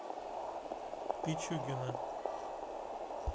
пичугина